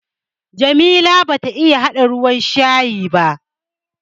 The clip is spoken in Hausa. Jamila bata iya haɗa ruwan shayi ba.